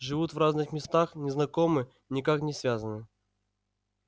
живут в разных местах не знакомы никак не связаны